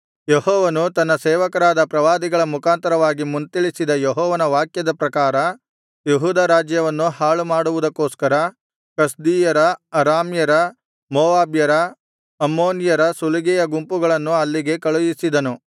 ಯೆಹೋವನು ತನ್ನ ಸೇವಕರಾದ ಪ್ರವಾದಿಗಳ ಮುಖಾಂತರವಾಗಿ ಮುಂತಿಳಿಸಿದ ಯೆಹೋವನ ವಾಕ್ಯದ ಪ್ರಕಾರ ಯೆಹೂದ ರಾಜ್ಯವನ್ನು ಹಾಳುಮಾಡುವುದಕ್ಕೋಸ್ಕರ ಕಸ್ದೀಯರ ಅರಾಮ್ಯರ ಮೋವಾಬ್ಯರ ಅಮ್ಮೋನಿಯರ ಸುಲಿಗೆಯ ಗುಂಪುಗಳನ್ನು ಅಲ್ಲಿಗೆ ಕಳುಹಿಸಿದನು